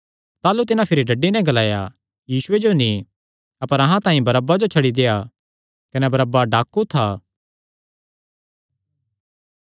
ताह़लू तिन्हां भिरी डड्डी नैं ग्लाया यीशुये जो नीं अपर अहां तांई बरअब्बा जो छड्डी देआ कने बरअब्बा डाकू था